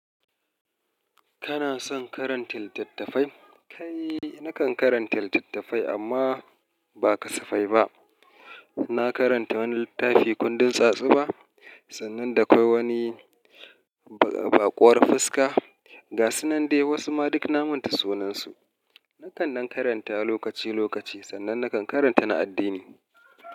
Kana son karanta littattafai? Kai, nakan karanta littattafai amma ba kasafai ba. Na karanta wani littafi kundin tsatsuba sannan da kawai wani baƙuwar fuska. Ga sunnan dai wasu ma duk na manta sunansu. Nakan dan karanta lokaci lokaci sannan nakan karanta na addini.